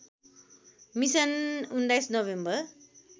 mission १९ November